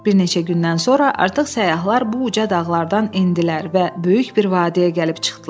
Bir neçə gündən sonra artıq səyyahlar bu uca dağlardan endilər və böyük bir vadiyə gəlib çıxdılar.